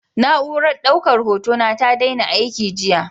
Na'urar daukar hotona ta daina aiki jiya.